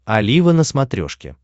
олива на смотрешке